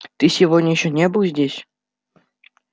ты сегодня ещё не был здесь